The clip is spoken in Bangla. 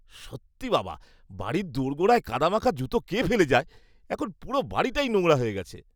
সত্যি বাবা, বাড়ির দোরগোড়ায় কাদামাখা জুতো কে ফেলে যায়? এখন পুরো বাড়িটা নোংরা হয়ে গেছে।